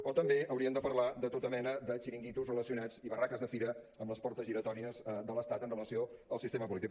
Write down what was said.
o també hauríem de parlar de tota mena de xiringuitos relacionats i barraques de fira amb les portes giratòries de l’estat amb relació al sistema polític